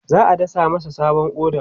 za'a dasa masa sabon ƙoda